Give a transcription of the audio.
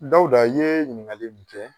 Dawuda i ye ɲininkali mun kɛ